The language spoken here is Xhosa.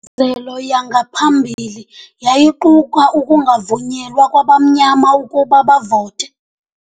Ingcinezelo yangaphambili yayiquka ukungavunyelwa kwabamnyama ukuba bavote.